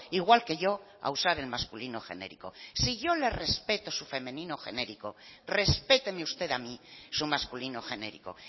igual que yo a usar el masculino genérico si yo le respeto su femenino genérico respéteme usted a mí su masculino genérico